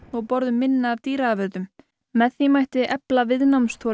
og borðum minna af dýraafurðum með því mætti efla